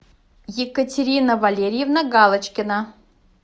екатерина валерьевна галочкина